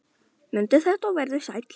Mundu þetta og vertu sæll!